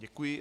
Děkuji.